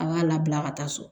An b'a labila ka taa so